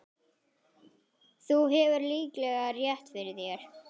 Þú hefur líklega rétt fyrir þér